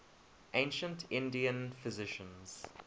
ancient indian physicians